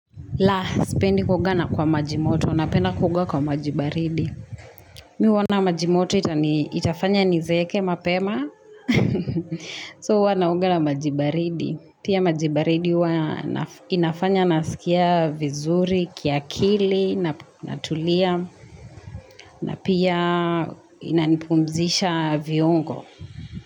La, sipendi kuoga kwa maji moto, napenda baridi. Mimi uona maji moto itafanya nizeeke mapema. So uwa naoga na maji baridi. Pia maji baridi uwa inafanya nasikia vizuri, kiakili, natulia na pia inanipumzisha viungo.